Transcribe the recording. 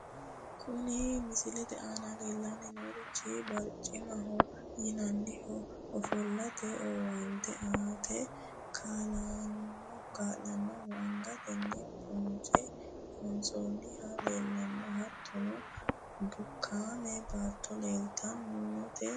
Kuni misilete aana leellanni noorichi barchimaho yinannihu ofo'late owaante aate kaa'lannohu , angatenni bonce loonsoonnihu leellanno , hattono bukaame baatto leeltanno yaate.